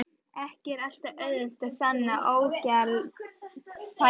Ekki er alltaf auðvelt að sanna ógjaldfærni.